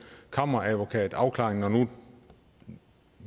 kammeradvokatafklaring når nu